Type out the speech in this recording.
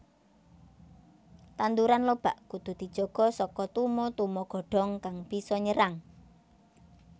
Tanduran lobak kudu dijaga saka tuma tuma godhong kang bisa nyerang